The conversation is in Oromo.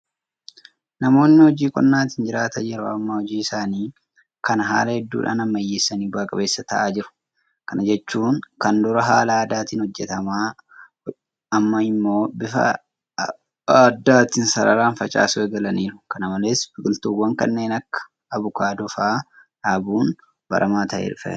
Namoonni hojii qonnaatiin jiraatan yeroo ammaa hojii isaanii kana haala hedduudhaan ammayyeessanii bu'aa qabeessa ta'aa jiru. Kana jechuun kan dur haala aadaatiin hojjetan amma immoo bifa addaatiin sararaaan facaasuu eegalaniiru. Kana malees biqiltuuwwan kanneen akka Abukaadoo fa'aa dhaabuun baramaa ta'aa dhufeera.